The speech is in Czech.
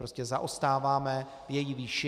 Prostě zaostáváme v její výši.